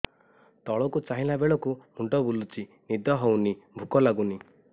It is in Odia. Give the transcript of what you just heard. ତଳକୁ ଚାହିଁଲା ବେଳକୁ ମୁଣ୍ଡ ବୁଲୁଚି ନିଦ ହଉନି ଭୁକ ଲାଗୁନି